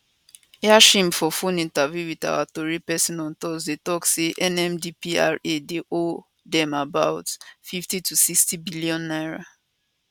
yashim for phone interview wit our tori pesin on tuesday tok say nmdpra dey owe dem about 50 to 60 billion naira